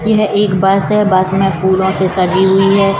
यह एक बस है बस में फूलों से सजी हुई है।